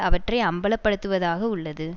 அவற்றை அம்பலப்படுத்துவதாக உள்ளது